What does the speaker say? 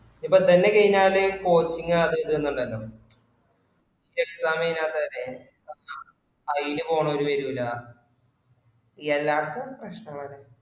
ഇപ്പോ ഇതെന്നെ കഴിഞ്ഞാല് posting അത് ഇത് ന്നുണ്ടല്ലോ exam കഴിഞ്ഞത്തവരെ അയിന് പോണൊരു വരൂല എല്ലാടതീം പ്രശ്നങ്ങളെന്ന